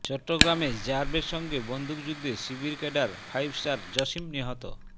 চট্টগ্রামে র্যাবের সঙ্গে বন্দুকযুদ্ধে শিবির ক্যাডার ফাইভ স্টার জসীম নিহত